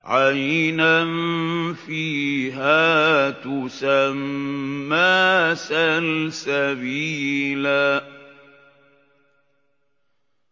عَيْنًا فِيهَا تُسَمَّىٰ سَلْسَبِيلًا